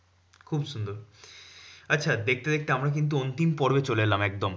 খুব সুন্দর আচ্ছা দেখতে দেখতে আমরা কিন্তু অন্তিম পর্বে চলে এলাম একদম।